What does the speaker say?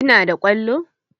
Ki na da kwallo?